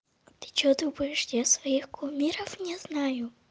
ты что думаешь я своих кумиров не знаю